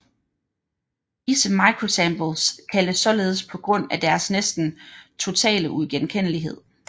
Disse microsamples kaldes således på grund af deres næsten totale uigenkendelighed